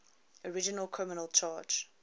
original criminal charge